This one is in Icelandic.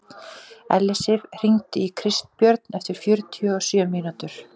Ellisif, hringdu í Kristbjörn eftir fjörutíu og sjö mínútur.